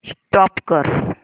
stop करा